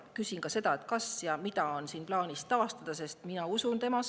Küsin ka seda, kas ja mida on plaanis taastada, sest mina usun temasse.